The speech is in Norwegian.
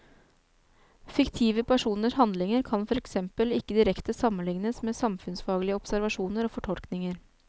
Fiktive personers handlinger kan for eksempel ikke direkte sammenliknes med samfunnsfaglige observasjoner og fortolkninger.